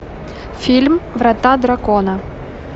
фильм врата дракона